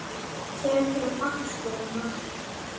Tekur um axlir hennar.